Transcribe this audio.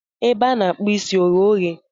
Ebe a na-akpụ isi oghe oghe?